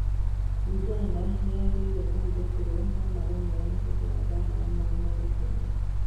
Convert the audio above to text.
Uganda nĩĩragirĩrĩirie kũhĩthũkĩrwo no mareneyana hĩndĩ ya mbara ya Mau Mau Kenya